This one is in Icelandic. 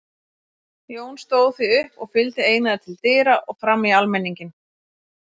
Jón stóð því upp og fylgdi Einari til dyra og fram í almenninginn.